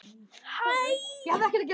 Þetta máttu ekki gera.